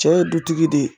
Cɛ ye dutigi de ye